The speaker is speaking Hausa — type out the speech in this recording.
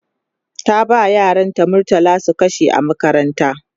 ta ba yaran ta murtala su kashe a makaranta